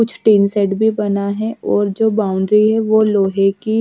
कुछ tin set भी बना है और जो बाउंड्री है वो लोहे की--